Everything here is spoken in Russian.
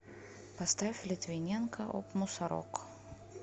поставь литвиненко оп мусорок